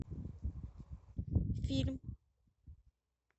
фильм